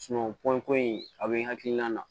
pɔn ko in a be n hakilina na